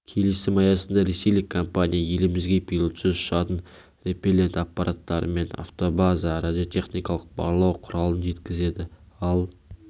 келісім аясында ресейлік компания елімізге пилотсыз ұшатын репеллент аппараттары мен автобаза-м радиотехникалық барлау құралын жеткізеді ал